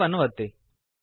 save ಅನ್ನು ಒತ್ತಿ